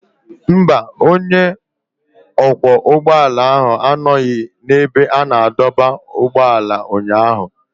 Mba, onye ọkwọ ụgbọala ahụ anọghị n'ebe a na-adọba ụgbọala ụnyaahụ.